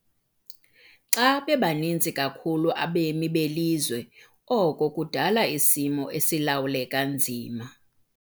Xa bebaninzi kakhulu abemi belizwe oko kudala isimo esilawuleka nzima.